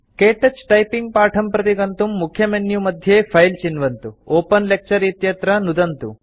के touch typing पाठं प्रति गन्तुं मुख्यमेन्यु मध्ये फिले चिन्वन्तु ओपेन लेक्चर इत्यत्र नुदन्तु